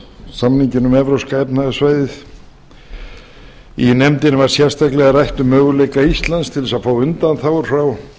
samninginn um evrópska efnahagssvæðið í nefndinni var sérstaklega rætt um möguleika íslands til að fá undanþágur frá